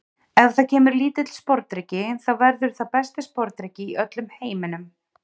Ef það kemur lítill sporðdreki þá verður það besti sporðdreki í öllum heiminum.